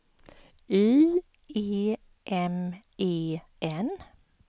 Y E M E N